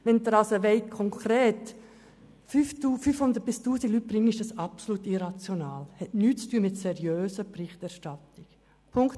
Wenn Sie konkret 500 bis 1000 Personen integrieren wollen, ist dies absolut irrational und hat nichts mit einer seriösen Berichterstattung zu tun.